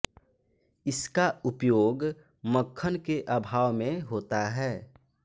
इसका उपयोग मक्खन के अभाव में होता है